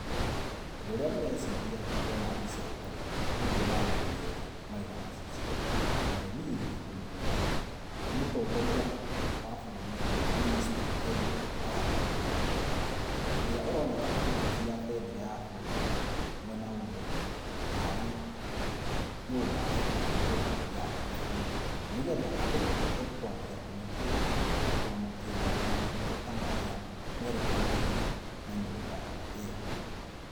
Ũndũ ũrĩa ndĩreciria ndona mbica ĩno, nĩnguona athuri erĩ marĩ na macicio, ũmwe niĩ nĩngũmũmenya, nĩ mũtongoria wa bũrũri minister Eliud Ogalo, ũrĩa aroneka akĩgucia bendera ya bũrũri mwena ũmwe, tarĩ, nyũmba ekũhingũra ya kĩbũrũri nĩgetha andũ mahote kwambia kũmĩhũthĩra na kwamũkĩra motungata marĩa merĩkanĩire na nyũmba ĩyo.